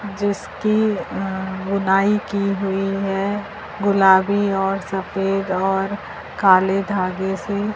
जिसकी अ ऊनाई कि हुई है गुलाबी और सफेद और काले धागे से --